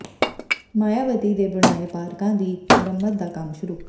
ਮਾਇਆਵਤੀ ਦੇ ਬਣਾਏ ਪਾਰਕਾਂ ਦੀ ਮੁਰੰਮਤ ਦਾ ਕੰਮ ਸ਼ੁਰੂ